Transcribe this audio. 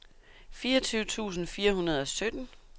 fireogtyve tusind fire hundrede og sytten